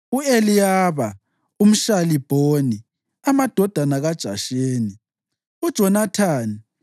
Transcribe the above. u-Eliyaba umShalibhoni, amadodana kaJasheni, uJonathani